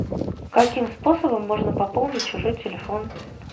каким способом можно пополнить чужой телефон